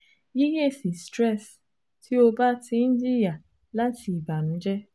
Yiyesi stress ti o ba ti n jiya lati ibanujẹ